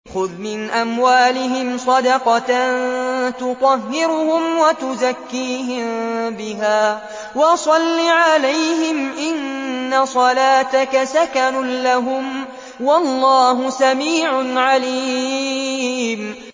خُذْ مِنْ أَمْوَالِهِمْ صَدَقَةً تُطَهِّرُهُمْ وَتُزَكِّيهِم بِهَا وَصَلِّ عَلَيْهِمْ ۖ إِنَّ صَلَاتَكَ سَكَنٌ لَّهُمْ ۗ وَاللَّهُ سَمِيعٌ عَلِيمٌ